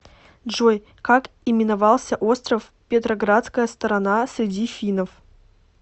джой как именовался остров петроградская сторона среди финнов